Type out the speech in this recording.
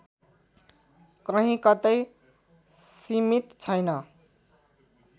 कहीं कतै सीमित छैन